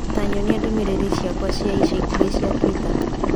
ta nyonia ndũmĩrĩri ciakwa cia ica ikuhĩ cia twitter